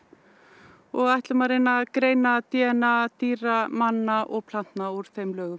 og ætlum að reyna að greina d n a dýra manna og plantna úr þeim lögum